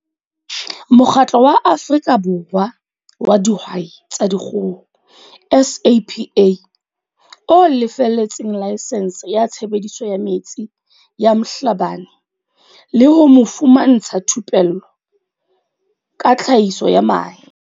Mokgatlo wa Afrika Borwa wa Dihwai tsa Di kgoho, SAPA, o lefelletseng laesense ya tshebediso ya metsi ya Mhlabane le ho mo fumantsha thupello ka tlhahiso ya mahe.